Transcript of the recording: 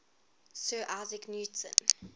sir isaac newton